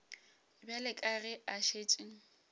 bjale ka ge a šetše